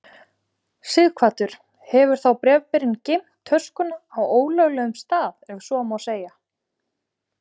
Sighvatur: Hefur þá bréfberinn geymt töskuna á ólöglegum stað ef svo má segja?